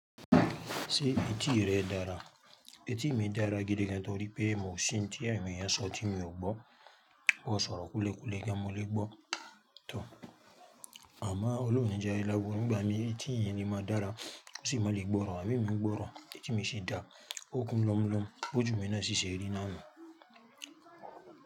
Ṣé etí rẹ dára? Etí mi dára gidi gan torí pé mo sin tí àwọn èèyàn sọ tí mi ò gbọ́. B'o sọ̀rọ̀ kulekule gan mo lè gbọ́. Tọ̀! Àmọ́ ọlọ́run oni jẹ ari laburu nígbà mí etí èèyàn le máa dára, kò sí máa le gbọ́ràn. Ìgbà mi ń gbọ́ràn etí mi ṣe dá okùn lọ́la mulomu bí ojù mi náà ṣíṣe rí náà ni.